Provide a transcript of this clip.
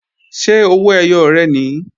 Ṣé owó ẹyọ rẹ̀ nìí?